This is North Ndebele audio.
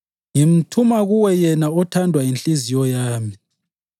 Ngimthuma kuwe yena othandwe yinhliziyo yami.